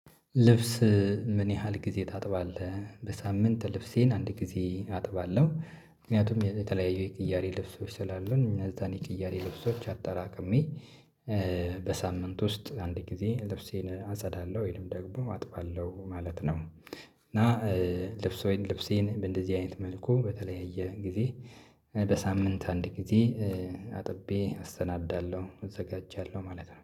ልብስ ምን ያህል ጊዜ ታጥባለህ? በሳምንት ልብሴን አንድ ጊዜ አጥባለሁ። ምክንያቱም የተለያዩ የቅያሪ ልብሶች ስላሉ፣ እነዚያን የቅያሪ ልብሶች አጠራቅሜ በሳምንት ውስጥ አንድ ጊዜ ልብሴን አጸዳለሁ፣ ወይንም ደግሞ አጥባለሁ ማለት ነው። እና ልብሴን በእንደዚህ አይነት መልኩ በተለያየ ጊዜ በሳምንት አንድ ጊዜ አጥቤ፣ አሰነዳለሁ፣ አዘጋጃለሁ ማለት ነው።